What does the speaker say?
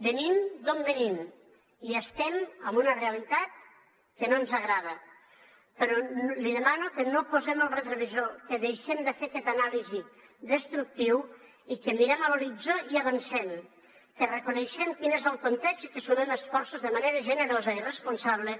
venim d’on venim i estem en una realitat que no ens agrada però li demano que no posem el retrovisor que deixem de fer aquesta anàlisi destructiva i que mirem a l’horitzó i avancem que reconeguem quin és el context i que sumem esforços de manera generosa i responsable